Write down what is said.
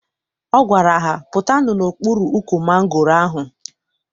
Ọ gwara ha, pụtanụ n'okpuru ukwu mangoro ahụ!